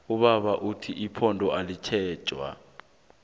ubaba uthi ipondo ayitjentjwa